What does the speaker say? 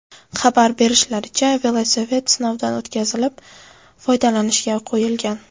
Xabar berishlaricha, velosiped sinovdan o‘tkazilib, foydalanishga qo‘yilgan.